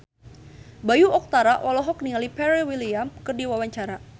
Bayu Octara olohok ningali Pharrell Williams keur diwawancara